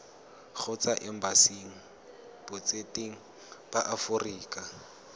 kgotsa embasing botseteng ba aforika